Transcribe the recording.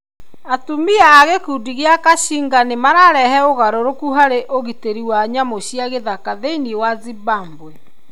Atumia a gĩkundi kĩa Akashinga nĩ mararehe ũgarũrũku harĩ ũgitĩri wa nyamũ cia gĩthaka thĩinĩ wa Zimbabwe.